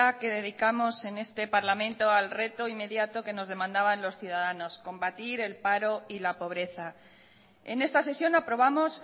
que dedicamos en este parlamento al reto inmediato que nos demandaban los ciudadanos combatir el paro y la pobreza en esta sesión aprobamos